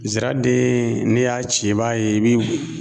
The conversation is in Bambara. Ziraden n'e y'a ci i b'a ye i bi